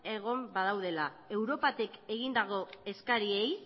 egon badaudela europatik egindako eskariei